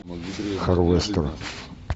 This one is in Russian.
харвестерн